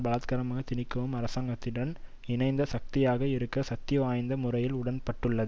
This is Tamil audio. பலாத்காரமாக திணிக்கவும் அரசாங்கத்துடன் இணைந்த சக்தியாக இருக்க சக்திவாய்ந்த முறையில் உடன்பட்டுள்ளது